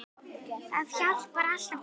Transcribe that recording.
Það hjálpar alltaf til.